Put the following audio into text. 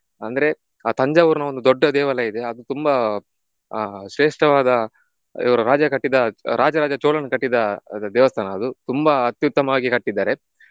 ಅಂದ್ರೆ ಆಹ್ ತಂಜಾವೂರಿನ ಒಂದು ದೊಡ್ಡ ದೇವಾಲಯ ಇದೆ ಅದು ತುಂಬ ಆಹ್ ಶ್ರೇಷ್ಠವಾದ ಇವರು ರಾಜ ಕಟ್ಟಿದ ರಾಜ ರಾಜ ಚೋಳನು ಕಟ್ಟಿದ ದೇವಸ್ಥಾನ ಅದು ತುಂಬಾ ಅತ್ಯುತ್ತಮವಾಗಿ ಕಟ್ಟಿದ್ದಾರೆ.